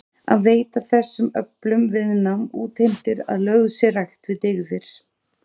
Að veita þessum öflum viðnám útheimtir að lögð sé rækt við dygðir.